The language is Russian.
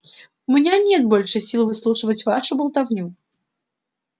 у меня нет больше сил выслушивать вашу болтовню